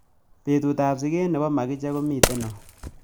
Betutap siget ne po makiche ko miten au